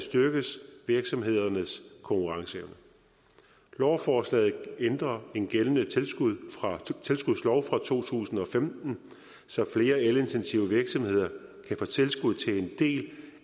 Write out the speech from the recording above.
styrkes virksomhedernes konkurrenceevne lovforslaget ændrer en gældende tilskudslov fra to tusind og femten så flere elintensive virksomheder kan få tilskud til en del